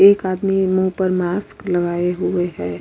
एक आदमी मुँह पर मास्क लगाए हुए है।